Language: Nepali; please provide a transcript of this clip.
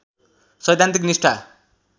सैद्धान्तिक निष्ठा